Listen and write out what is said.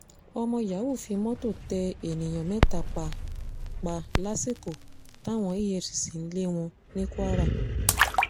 ọmọ yahoo fi mọ́tò tẹ èèyàn mẹ́ta pa pa lásìkò táwọn efcc ń lé wọn ní kwara